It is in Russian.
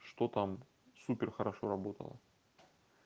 что там супер хорошо работала